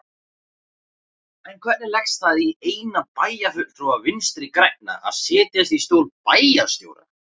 En hvernig leggst það í eina bæjarfulltrúa Vinstri-grænna að setjast í stól bæjarstjóra?